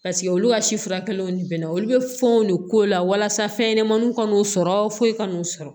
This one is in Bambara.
Paseke olu ka si furakɛliw ni bɛnna olu bɛ fɛnw de k'o la walasa fɛnɲɛnamaninw ka n'o sɔrɔ foyi kan'o sɔrɔ